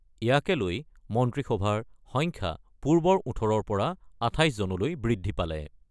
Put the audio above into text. ইয়াকে লৈ মন্ত্ৰীসভাৰ সংখ্যা পূৰ্বৰ ১৮ৰ পৰা ২৮জনলৈ বৃদ্ধি পালে।